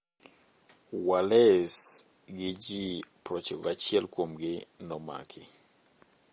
Wallace gi ji 91 kuomgi nomaki.